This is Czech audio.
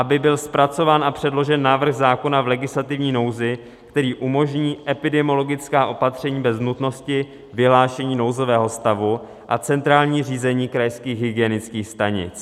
Aby byl zpracován a předložen návrh zákona v legislativní nouzi, který umožní epidemiologická opatření bez nutnosti vyhlášení nouzového stavu a centrální řízení krajských hygienických stanic.